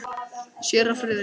Séra Friðrik